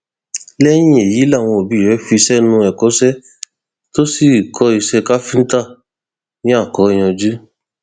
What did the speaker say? lẹyìn èyí làwọn òbí rẹ fi sẹnu ẹkọṣe tó sì kọ iṣẹ káfíńtà ní akóyanjú